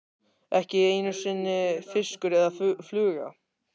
Ekki einu sinni fiskur eða fluga.